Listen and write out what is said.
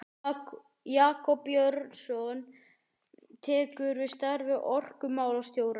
Jakob Björnsson tekur við starfi orkumálastjóra.